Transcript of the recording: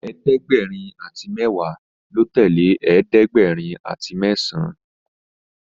ẹ̀ẹ́dẹ̀gbẹ̀rin àti mẹwa ló tẹlẹ ẹ̀ẹ́dẹ̀gbẹ̀rin àti mesan